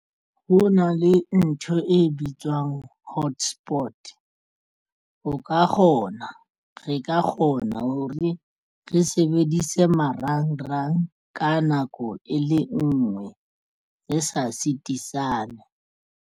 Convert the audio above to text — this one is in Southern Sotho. Ho na le ntho e bitswang hotspot o ka kgona re ka kgona hore re sebedise marangrang ka nako e le nngwe re sa sitisana.